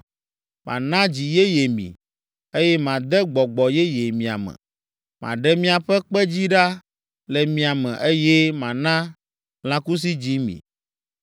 Mana dzi yeye mi, eye made gbɔgbɔ yeye mia me; maɖe miaƒe kpedzi ɖa le mia me, eye mana lãkusidzi mi.